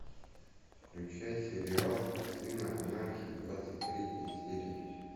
включай сериал сыны анархии двадцать третья серия